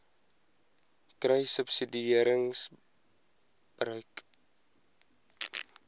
kruissubsidiëringgebruik